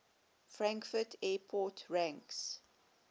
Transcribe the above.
frankfurt airport ranks